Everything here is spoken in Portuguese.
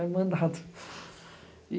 É mandado.